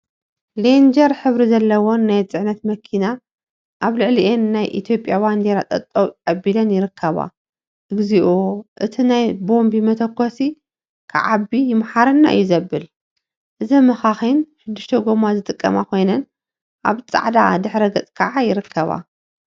ሌንጀር ሕብሪ ዘለዎን ናይ ፅዕነት መኪና አብ ልዕሊአን ናይ ኢትዮጵያ ባንዴራ ጠጠው አቢለን ይርከባ፡፡ እግዚኦ! እቲ ናይ ቦምቢ መተኮሲ ክዓቢ ይምሓረና እዩ ዘብል፡፡ እዘን መካኪን ሽዱሽተ ጎማ ዝጥቀማ ኮይነን አብ ፃዕዳ ድሕረ ገፅ ከዓ ይርከባ፡፡